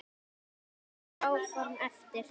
Vonandi ganga þau áform eftir.